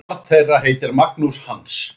Barn þeirra er Magnús Hans.